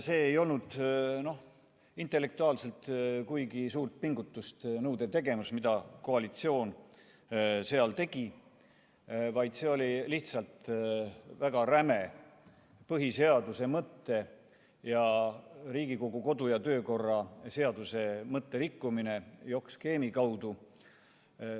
See ei olnud intellektuaalselt kuigi suurt pingutust nõudev tegevus, mida koalitsioon seal tegi, vaid see oli lihtsalt väga räme põhiseaduse mõtte ja Riigikogu kodu- ja töökorra seaduse mõtte rikkumine jokk-skeemi kaudu.